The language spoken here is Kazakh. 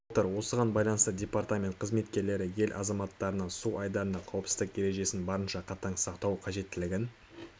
отыр осыған байланысты департамент қызметкерлері ел азаматтарына су айдындарында қауіпсіздік ережесін барынша қатаң сақтау қажеттігін